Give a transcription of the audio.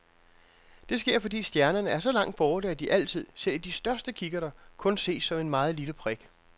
Det sker, fordi stjernene er så langt borte, at de altid, selv i de største kikkerter, kun ses som en meget lille prik.